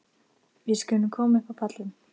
Við skulum koma upp á pallinn.